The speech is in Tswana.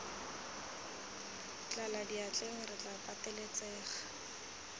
tlala diatleng re tla pateletsega